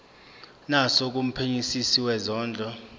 naso kumphenyisisi wezondlo